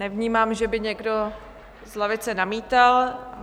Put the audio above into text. Nevnímám, že by někdo z lavice namítal.